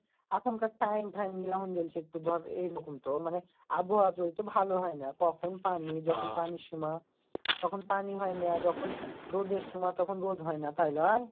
এখন কার time এইরকম তো মানে আবহাওয়া তো ভালো হয়না কখন পানি যখন পানির সময় তখন পানি হয়না যখন রোডের সময় তখন রড হয়না তাই লই।